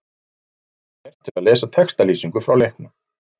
Smelltu hér til að lesa textalýsingu frá leiknum.